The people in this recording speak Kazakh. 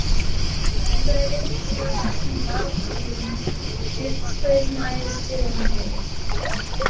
бұнда электр станциясының барлық көлемінің жетпіс пайызын аэс тер өндіреді